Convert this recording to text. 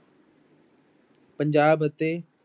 ਪੰਜਾਬ ਅਤੇ